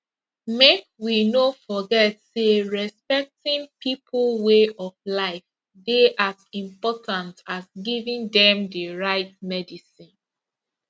make we no forget say respecting people way of life dey as important as giving dem the right medicine